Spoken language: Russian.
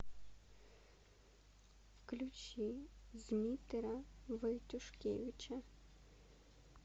включи змитера войтюшкевича